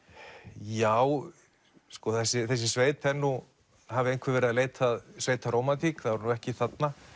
já þessi þessi sveit er nú hafi einhver verið að leita að sveitarómantík þá er hún ekki þarna